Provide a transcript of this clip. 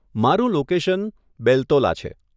મારુ લોકેશન બેલ્તોલા છે.